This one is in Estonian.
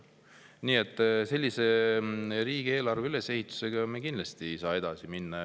Selliselt üles ehitatud riigieelarvega me kindlasti edasi minna ei saa.